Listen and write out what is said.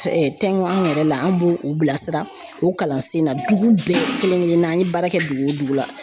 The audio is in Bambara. anw yɛrɛ la an b'o o bilasira o kalansen na dugu bɛɛ kelen kelen na an ye baara kɛ dugu wo dugu la